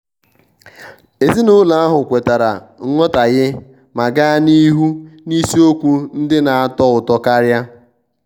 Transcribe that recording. ezinụlọ ahụ kwetara nghọtahie ma gaa n'ihu n'isiokwu ndị na-atọ ụtọ karia.